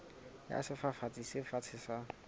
ya sefafatsi se fatshe sa